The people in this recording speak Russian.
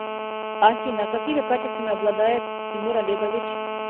афина какими качествами обладает тимур олегович